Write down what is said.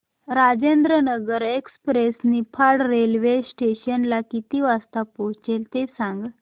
Rajendranagar express Niphad railway station ला किती वाजता पोहचते ते सांग